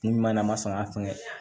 Kun ɲuman na a ma sɔn ka fɛn kɛ